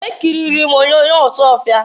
Ekiriri m onyoonyo Ọsụọfịa.